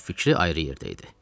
çünki fikri ayrı yerdə idi.